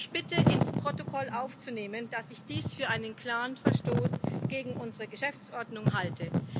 Ich bitte, ins Protokoll aufzunehmen, dass ich dies für einen klaren Verstoß gegen unsere Geschäftsordnung halte.